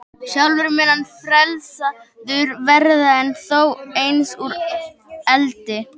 Sjálfur mun hann frelsaður verða, en þó eins og úr eldi.